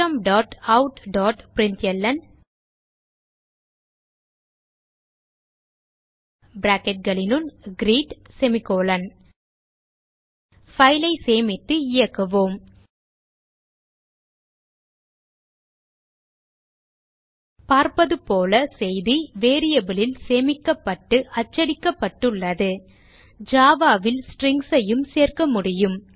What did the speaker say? systemoutபிரின்ட்ல்ன் file ஐ சேமித்து இயக்குவோம் பார்ப்பது போல செய்தி variable லில் சேமிக்கப்பட்டு அச்சடிக்கப்பட்டுள்ளது Java ல் Strings ஐயும் சேர்க்க முடியும்